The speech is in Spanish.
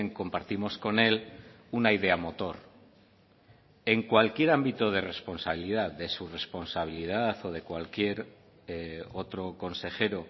compartimos con él una idea motor en cualquier ámbito de responsabilidad de su responsabilidad o de cualquier otro consejero